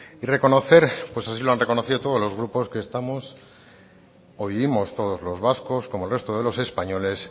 y reconocer pues así lo han reconocido todos los grupos que estamos o vivimos todos los vascos como el resto de los españoles